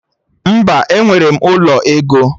Mba, enwere m ụlọ ego